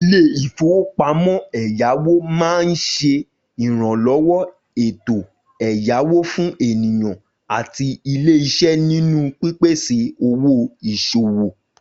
Ilé-ìfowópamọ́ ẹ̀yáwó máa ń ṣe ìrànlọ́wọ́ ètò ẹ̀yáwó fún ènìyàn àti ilé-iṣẹ́ nínú pípèsè owó ìṣòwò